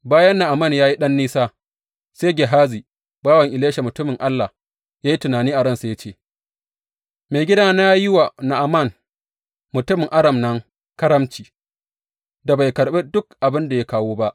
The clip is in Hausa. Bayan Na’aman ya yi ɗan nisa, sai Gehazi, bawan Elisha mutumin Allah, ya yi tunani a ransa ya ce, Maigidana ya yi wa Na’aman mutumin Aram nan ƙaramci da bai karɓi duk abin da ya kawo ba.